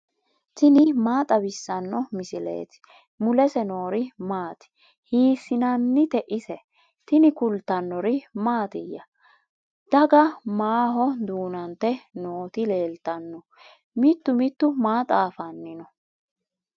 tini maa xawissanno misileeti ? mulese noori maati ? hiissinannite ise ? tini kultannori mattiya? daga maaho duunante nootti leelittanno? Mitu mitu maa xaafanni noo?